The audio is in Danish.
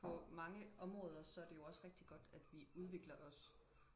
på mange områder så er det jo også rigtig godt at vi udvikler os